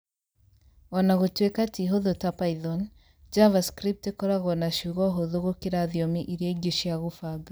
O na gũtuĩka ti hũthũ ta Python, JavaScript ĩkoragwo na ciugo hũthũ gũkĩra thiomi iria ingĩ cia kũbanga